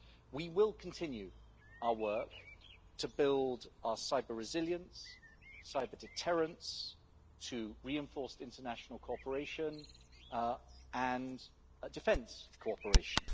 We will continue our work to build our cyber-resilience and cyber-deterrence, as well as to reinforce international cooperation and defence cooperation.